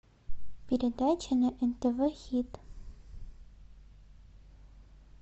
передача на нтв хит